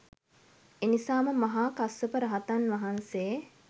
එනිසාම මහා කස්සප රහතන් වහන්සේ